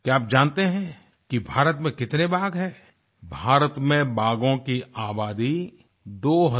क्या आप जानते हैं कि भारत में कितने बाघ हैं भारत में बाघों की आबादी 2967 है